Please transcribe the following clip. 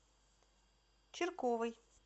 чирковой